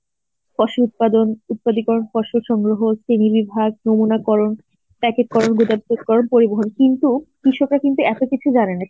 ফসল উৎপাদন, উৎপাদী করন ফসল সংগ্রহ নমুনা করন, প্যাকেট করন করন পরিবহন কিন্তু কৃষকরা কিন্তু এত কিছু জানেনা.